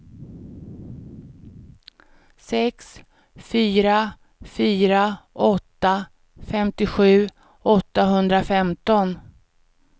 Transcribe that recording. sex fyra fyra åtta femtiosju åttahundrafemton